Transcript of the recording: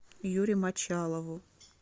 юре мочалову